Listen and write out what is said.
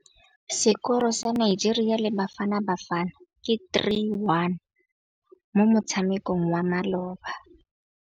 Sekôrô sa Nigeria le Bafanabafana ke 3-1 mo motshamekong wa malôba.